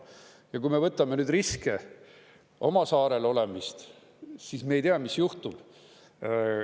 Ja kui me võtame neid riske, oma saarel olemist, siis me ei tea, mis juhtub.